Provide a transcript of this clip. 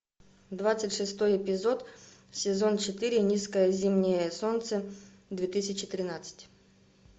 двадцать шестой эпизод сезон четыре низкое зимнее солнце две тысячи тринадцать